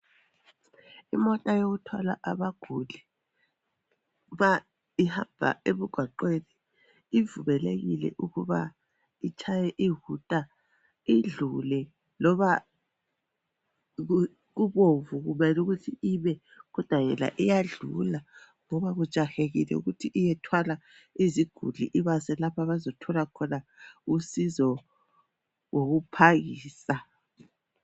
Imota yokuthwala abaguli ma ihamba emgwaqweni, ivumelekile ukuba itshaye iwuta idlule. Loba kubomvu, kumele ukuthi ime, kodwa yona iyadlula, ngoba kujahekile ukuthi iyethwala iziguli, Ibase lapha abazothola khona usizo ngokuphangisa.